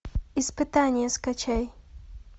испытание скачай